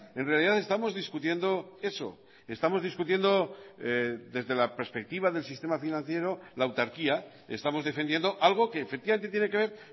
en realidad estamos discutiendo eso estamos discutiendo desde la perspectiva del sistema financiero la autarquía estamos defendiendo algo que efectivamente tiene que ver